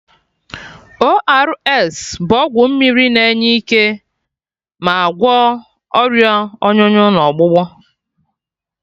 ORS bụ ọgwụ mmiri na enye ike ma agwọ Ọrịa ọnyụnyụ na ọgbụgbọ